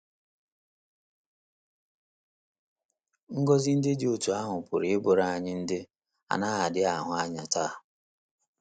Ngọzi ndị dị otú ahụ pụrụ ịbụrụ anyị ndị “ a na - adịghị ahụ anya ” taa.